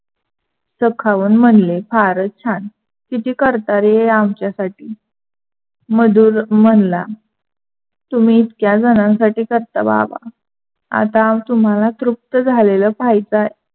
तर खाऊन म्हणले फारच छान. कीती करता रे आमच्या साठी मधुर म्हनला तुम्ही इतक्या झणासाठी करता बाबा, आता तुम्हाला तृप्त झालेल पहायचं आहे.